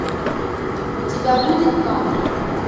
у тебя будет кадры